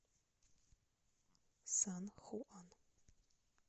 сан хуан